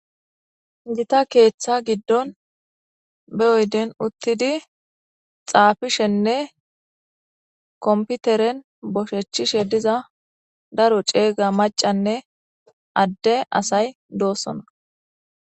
jita keeththa giddon be oyden uttidi xaafishenne komputeren boshechchishe diza daro ceega macanne adde asay doosona